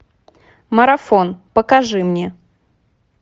марафон покажи мне